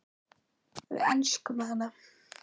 Við elskum hana.